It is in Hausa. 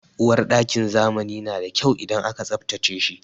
Uwarɗakin zamani na da kyau idan an tsabtace shi.